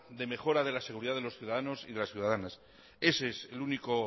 de mejora de la seguridad de los ciudadanos y de las ciudadanas ese es el único